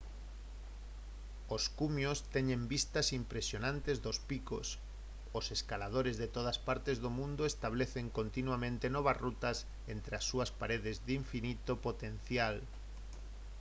os cumios teñen vistas impresionantes dos picos os escaladores de todas partes do mundo establecen continuamente novas rutas entre as súas paredes de infinito potencial